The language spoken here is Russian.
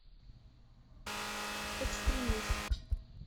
экстремист